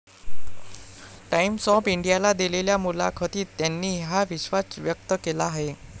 Times of इंडियाला दिलेल्या मुलाखतीत त्यांनी हा विश्वास व्यक्त केला आहे.